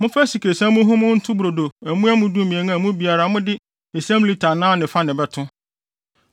“Momfa asikresiam muhumuhu nto brodo amuamu dumien a mua biara mode esiam lita anan ne fa na ɛbɛto.